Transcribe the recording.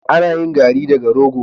Ana yin garri daga rogo.